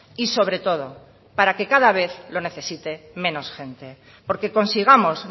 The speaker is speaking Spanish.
y sobre todo para que cada vez lo necesite menos gente porque consigamos